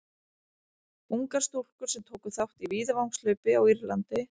ungar stúlkur sem tóku þátt í víðavangshlaupi á írlandi